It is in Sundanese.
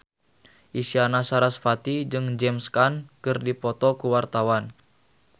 Isyana Sarasvati jeung James Caan keur dipoto ku wartawan